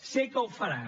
sé que ho farà